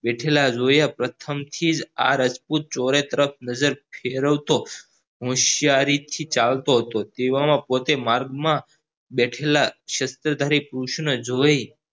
બેઠેલા જોયા પ્રથમ થીજ આ રાજપૂત ચોરે તરફ નજર ફેરવતો હોશિયારીથી ચાલતો હતો તેવા માં પોતે માર્ગ માં બેઠેલા જોઈ